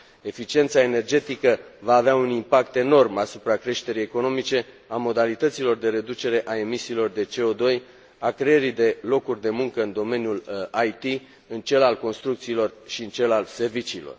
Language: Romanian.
Eficiența energetică va avea un impact enorm asupra creșterii economice, a modalităților de reducere a emisiilor de CO2, a creării de locuri de muncă în domeniul IT, în cel al construcțiilor și în cel al serviciilor.